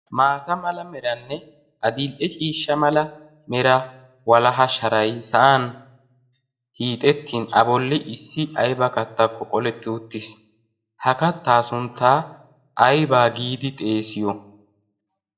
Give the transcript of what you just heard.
maata mala meranne a dil'e ciishsha mala mera walaha sharay sa'an hiixettin a bolli issi ayba kattakko qoletti uttiis ha kattaa sunttaa aybaa giidi xeesiyo